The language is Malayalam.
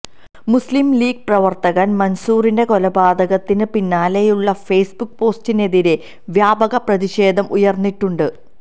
മുസ്ലിം ലീഗ് പ്രവർത്തകൻ മൻസൂറിന്റെ കൊലപാതകത്തിന് പിന്നാലെയുള്ള ഫേസ്ബുക്ക് പോസ്റ്റിനെതിരെ വ്യാപക പ്രതിഷേധം ഉയർന്നിട്ടുണ്ട്